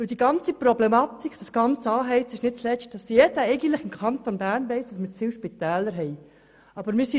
Die ganze Problematik, dieses ganze Aufheizen, besteht nämlich darin, dass jeder weiss, dass wir im Kanton Bern zu viele Spitäler haben.